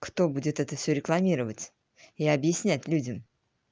кто будет это все рекламировать и объяснять людям